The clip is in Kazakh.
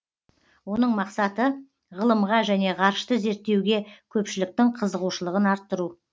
оның мақсаты ғылымға және ғарышты зерттеуге көпшіліктің қызығушылығын арттыру